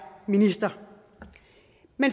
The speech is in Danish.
minister